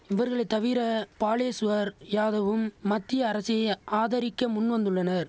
இவர்களை தவிர பாலேஷ்வர் யாதவும் மத்திய அரசைய ஆதரிக்க முன்வந்துள்ளனர்